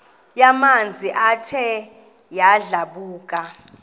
yamanzi ethe yadlabhuka